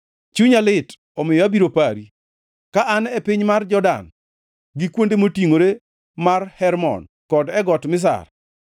Chunya lit; omiyo abiro pari, ka an e piny mar Jordan, gi kuonde motingʼore mar Hermon kod e got Mizar.